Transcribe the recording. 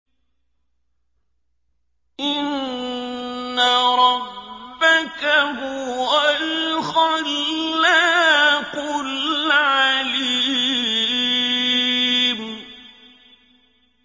إِنَّ رَبَّكَ هُوَ الْخَلَّاقُ الْعَلِيمُ